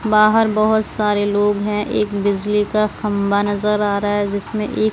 बाहर बहोत सारे लोग हैं एक बिजली का खंबा नजर आ रहा है जिसमें एक--